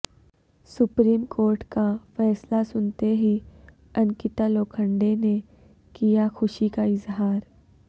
supreme court کا فیصلہ سنتے ہی انکتا لوکھنڈے نے کیا خوشی کا اظہار